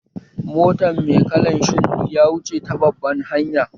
Motan mai kalan shuɗi ya wuce ta babban hanya